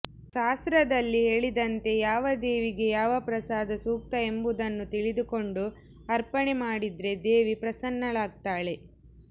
ಶಾಸ್ತ್ರದಲ್ಲಿ ಹೇಳಿದಂತೆ ಯಾವ ದೇವಿಗೆ ಯಾವ ಪ್ರಸಾದ ಸೂಕ್ತ ಎಂಬುದನ್ನು ತಿಳಿದುಕೊಂಡು ಅರ್ಪಣೆ ಮಾಡಿದ್ರೆ ದೇವಿ ಪ್ರಸನ್ನಳಾಗ್ತಾಳೆ